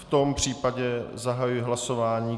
V tom případě zahajuji hlasování.